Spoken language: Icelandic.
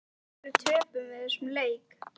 Af hverju töpum við þessum leik?